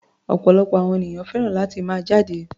Ọ̀pọ̀lọpọ̀ àwọn ènìyàn fẹ́ràn láti máa jáde.